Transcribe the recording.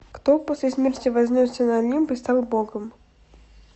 кто после смерти вознесся на олимп и стал богом